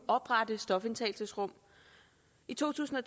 oprette stofindtagelsesrum i to tusind og